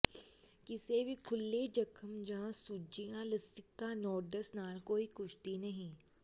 ਕਿਸੇ ਵੀ ਖੁੱਲ੍ਹੇ ਜ਼ਖ਼ਮ ਜਾਂ ਸੁੱਜੀਆਂ ਲਸੀਕਾ ਨੋਡਸ ਨਾਲ ਕੋਈ ਕੁਸ਼ਤੀ ਨਹੀਂ